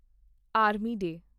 army day